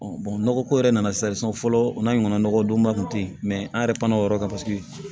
nɔgɔ ko yɛrɛ nana sa fɔlɔ n'a ɲɔgɔnna nɔgɔdonba kun tɛ yen mɛ an yɛrɛ pana o yɔrɔ kan paseke